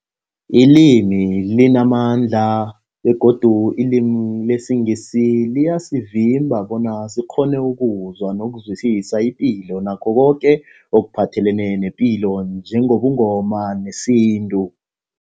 Ilimi limamandla begodu ilimi lesiNgisi liyasivimba bona sikghone ukuzwa nokuzwisisa ipilo nakho koke ekuphathelene nepilo njengobuNgoma nesintu.